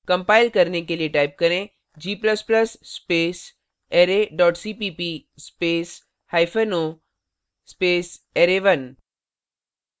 compile करने के लिए type करें g ++ space array dot cpp space hypen o space array1